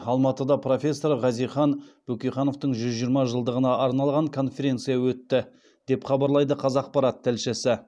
алматыда профессор хазихан бөкейхановтың жүз жиырма жылдығына арналған конференция өтті деп хабарлайды қазақпарат тілшісі